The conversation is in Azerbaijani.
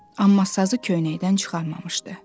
Amma sazı köynəkdən çıxarmamışdı.